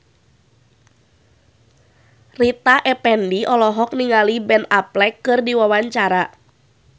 Rita Effendy olohok ningali Ben Affleck keur diwawancara